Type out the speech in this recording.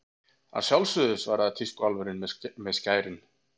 Að sjálfsögðu, svaraði tískuálfurinn með skærin.